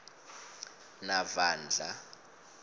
navandla